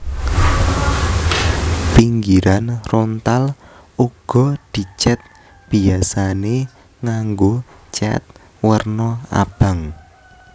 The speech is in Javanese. Pinggiran rontal uga dicèt biyasané nganggo cèt werna abang